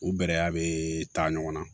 U bɛrɛya bɛ taa ɲɔgɔn na